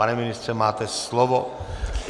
Pane ministře, máte slovo.